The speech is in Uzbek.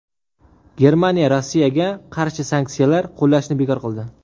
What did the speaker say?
Germaniya Rossiyaga qarshi sanksiyalar qo‘llashni bekor qildi.